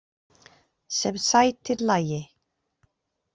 Sem sætir lagi.